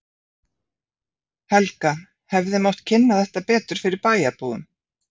Helga: Hefði mátt kynna þetta betur fyrir bæjarbúum?